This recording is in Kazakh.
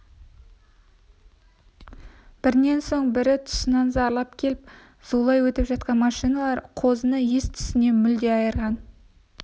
бірінен соң бірі тұсынан зарлап келіп зулап өтіп жатқан машиналар қозыны ес-түсінен мүлде айырған